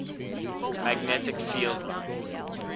magnetic field lines